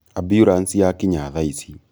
amburanci yakinya thaici